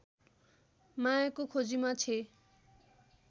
मायाको खोजीमा छे